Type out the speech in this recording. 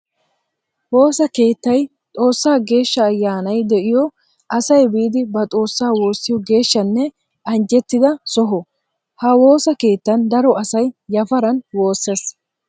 Woosa keettay xoosa geeshsha ayyannay de'iyo asay biidi ba xoosa woosiyo geeshshanne anjjettidda soho. Ha woosa keettan daro asay yafaran wooses.